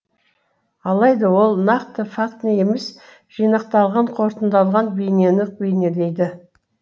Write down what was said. алайда ол нақты фактіні емес жинақталған қорытылған бейнені бейнелейді